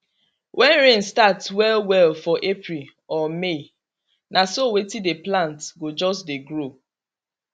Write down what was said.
when rain start well well for april or may na so wetin dey plant go just dey grow